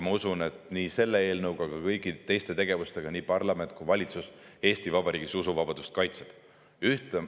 Ma usun, et nii selle eelnõuga kui ka kõigi teiste tegevustega parlament ja valitsus Eesti Vabariigis usuvabadust kaitsevad.